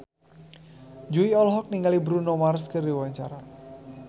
Jui olohok ningali Bruno Mars keur diwawancara